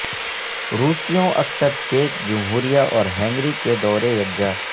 روسیوں اکثر چیک جمہوریہ اور ہنگری کے دورے یکجا